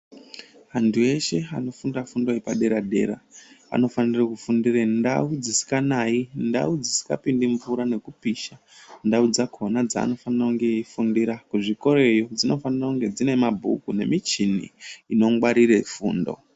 Antu eshe ano funda fundo yepa dera dera anofanire ku fundire ndau dzisinga nayi ndau dzisinga pindi mvura ngekupisha ndau dzakona dzaanofanira eyi fundira kuzvikoroyo dzino fanire kunge dzine mabhuku ne michini ino gwarire fundo.